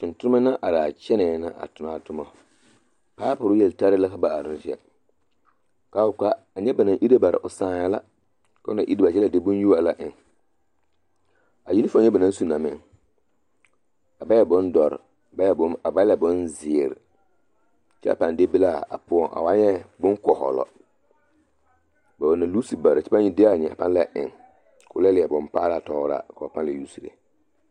Tontonema na are a kyɛnɛɛ na a tonɔ a tomɔ paapore yeltare la ka ba are ne kyɛ k'a wuli ka a nyɛ ba naŋ ire bara na o sãã la k'o na iri bare kyɛ la de boŋyuo a la eŋ, a yinifom nyɛ ba naŋ su na meŋ a ba e bondɔre a ba la e bonzeere kyɛ a pãã deɛ be la a poɔŋ, a waa nyɛ boŋkɔhɔlɔ, ba loose bare la kyɛ pãã leɛ de a nyɛ eŋ k'o la leɛ bompaalaa tɔgeraa k'o pãã la usire.